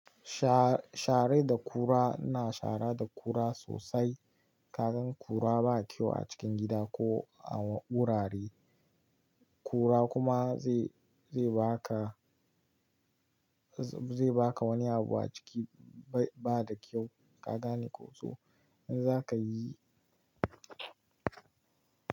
Sha- sharar da kura na shara da kura sosai. Ka gan kura ba kyau a cikin gida ko a wurare. Kura kuma zai, zai baka, zai baka wani abu a ciki bai bada kyau. Ka gane ko so? In za ka yi.